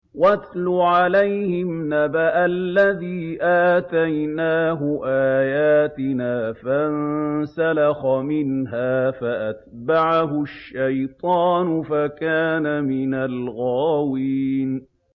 وَاتْلُ عَلَيْهِمْ نَبَأَ الَّذِي آتَيْنَاهُ آيَاتِنَا فَانسَلَخَ مِنْهَا فَأَتْبَعَهُ الشَّيْطَانُ فَكَانَ مِنَ الْغَاوِينَ